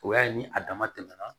O y'a ye ni a dama tɛmɛna